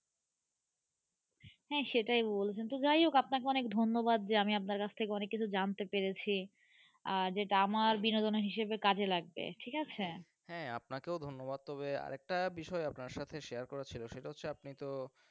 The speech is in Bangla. হ্যাঁ সেটাই বলছিলাম, তো যাই হোক আপনাকে অনেক ধন্যবাদ যে আমি আপনার কাছ থেকে অনেক কিছু জানতে পেরেছি আর যেটা আমার বিনোদন হিসাবে কাজে লাগবে ঠিক আছে হ্যাঁ. আপনাকেও ধন্যবাদ তবে আর একটা বিষয় আপনার সাথে share করার ছিল সেটা হচ্ছে আপনি তো.